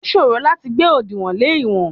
Ó ṣòro láti gbé òdìwọ̀n lè ìwọ̀n.